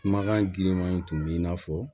Kumakan girimanw tun b'i n'a fɔ